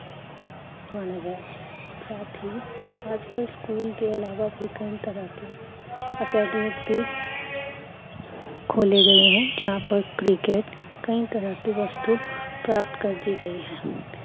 ਮਾਣਆ ਗਿਆ ਸੀ ਸਾਥ ਹੀਂ ਆਜ ਕੱਲ ਸਕੂਲ ਕੇ ਇਲਾਵਾ ਵੀ ਕਈ ਤਰਾਂ ਕੇ ਖੋਲੇ ਗਏ ਹੈ ਯਹ ਪਰ cricket ਕਈ ਤਰਾਂ ਕੀ ਵਸਤੂ ਪ੍ਰਾਪਤ ਕੀਏ ਗਏ ਹੈ